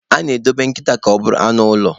A na-edobe nkịta ka ọ bụrụ anụ ụlọ.